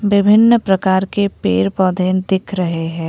विभिन्न प्रकार के पेड़ पौधे दिख रहे है।